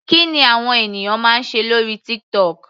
Kí ni àwọn ènìyàn máa ń ṣe lórí TikTok.